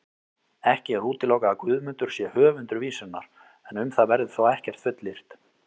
Ekki er útilokað að Guðmundur sé höfundur vísunnar, en um það verður þó ekkert fullyrt.